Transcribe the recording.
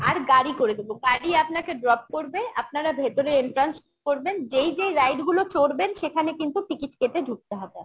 আর গাড়ি করে দেবো গাড়ি আপনাকে drop করবে আপনারা ভেতরে entrance করবেন যেই যেই ride গুলো চড়বেন সেখানে কিন্তু ticket কেটে ঢুকতে হবে